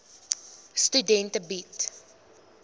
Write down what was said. studente bied